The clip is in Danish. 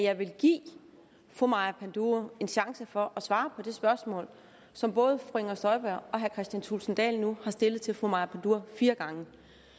jeg vil give fru maja panduro en chance for at svare på det spørgsmål som både fru inger støjberg og herre kristian thulesen dahl nu har stillet til fru maja panduro fire gange